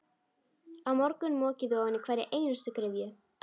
Á morgun mokið þið ofan í hverja einustu gryfju.